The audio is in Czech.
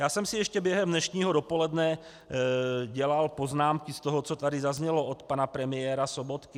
Já jsem si ještě během dnešního dopoledne dělal poznámky z toho, co tady zaznělo od pana premiéra Sobotky.